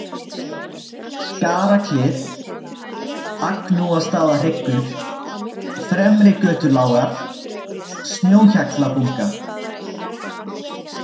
Skarfaklif, Agnúastaðahryggur, Fremrigötulágar, Snjóhjallabunga